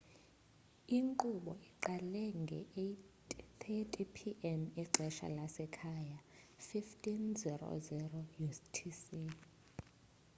inkqubo iqale nge-8: 30 p.m. ixesha lasekhaya 15.00 utc